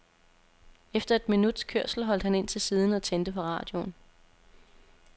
Efter et minuts kørsel holdt han ind til siden og tændte for radioen.